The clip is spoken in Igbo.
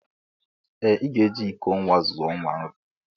Ee ị ga-eji iko nwa zụọ nwa nri